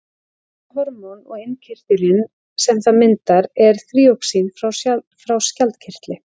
Dæmi um hormón og innkirtilinn sem það myndar er þýroxín frá skjaldkirtli.